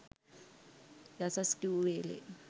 යසස් කියූ වේලේ